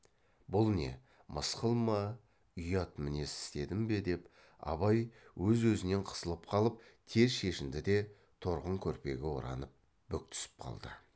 бұл не мысқыл ма ұят мінез істедім бе деп абай өз өзінен қысылып қалып тез шешінді де торғын көрпеге оранып бүк түсіп қалды